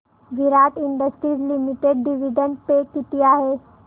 विराट industries limited dividend pay किती आहे